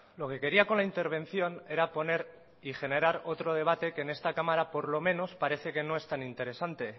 lo que quería con la intervención era poner y generar otro debate que en esta cámara por lo menos parece que no es tan interesante